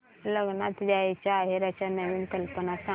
लग्नात द्यायला आहेराच्या नवीन कल्पना सांग